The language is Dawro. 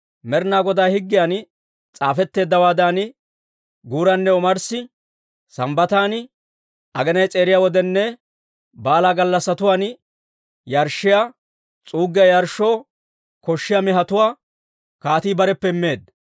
Med'inaa Godaa higgiyan S'aafetteeddawaadan guuranne omarssi, Sambbatan, aginay s'eeriya wodiyaaninne baalaa gallassatuwaan yarshshiyaa, s'uuggiyaa yarshshoo koshshiyaa mehetuwaa kaatii bareppe immeedda.